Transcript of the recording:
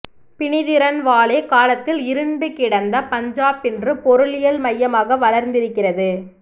பிநிதிரன்வாலே காலத்தில் இருண்டு கிடந்த பஞ்சாப் இன்று பொருளியல் மையமாக வளார்ந்திருக்கிறது